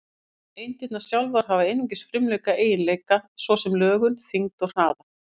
Eindirnar sjálfar hafa einungis frumlega eiginleika, svo sem lögun, þyngd og hraða.